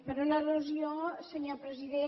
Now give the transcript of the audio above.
per una al·lusió senyor president